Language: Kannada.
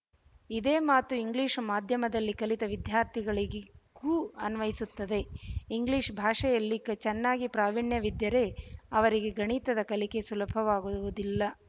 ಇದೇ ಮಾತು ಇಂಗ್ಲಿಶ ಮಾಧ್ಯಮದಲ್ಲಿ ಕಲಿತ ವಿದ್ಯಾರ್ಥಿಗಳಿಗೂ ಅನ್ವಿಸುತ್ತದೆ ಇಂಗ್ಲಿಶ ಭಾಷೆಯಲ್ಲಿ ಕಿ ಚೆನ್ನಾಗಿ ಪ್ರಾವೀಣ್ಯವಿದ್ದರೆ ಅವರಿಗೆ ಗಣಿತದ ಕಲಿಕೆ ಸುಲಭವಾಗುವುವುದಿಲ್ಲ